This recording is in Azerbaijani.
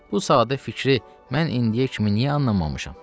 Bu sadə fikri mən indiyə kimi niyə anlamamışam?